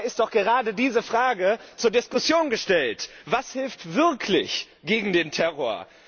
Dabei ist doch gerade diese Frage zur Diskussion gestellt Was hilft wirklich gegen den Terror?